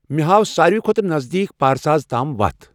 مے ہاو ساروٕے کھۄتہٕ نزدیٖک پارساز تام وَتھ ۔